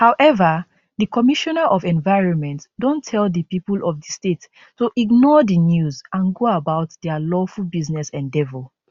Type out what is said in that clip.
however di commissioner of environment don tell di pipo of di state to ignore di news and go about dia lawful business endeavour